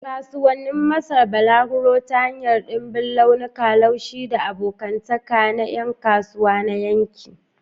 Kasuwannin Masar: balaguro ta hanyar ɗimbin launuka, laushi, da abokantaka na yan kasuwa na yanki.